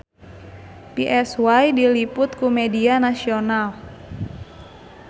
Psy diliput ku media nasional